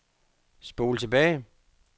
spol tilbage